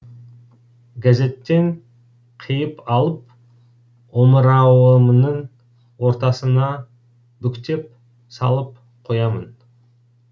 газеттен қиып алып омырауымның ортасына бүктеп салып қоямын